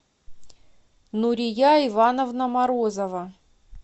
нурия ивановна морозова